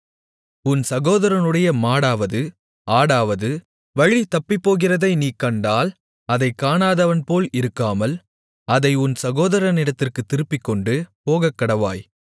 உன் சகோதரனுடைய மாடாவது ஆடாவது வழிதப்பிப்போகிறதை நீ கண்டால் அதைக் காணாதவன்போல் இருக்காமல் அதை உன் சகோதரனிடத்திற்குத் திருப்பிக்கொண்டு போகக்கடவாய்